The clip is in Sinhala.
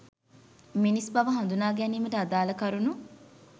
මිනිස් බව හඳුනා ගැනීමට අදාළ කරුණු